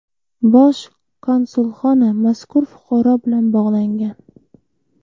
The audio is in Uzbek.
Bosh konsulxona mazkur fuqaro bilan bog‘langan.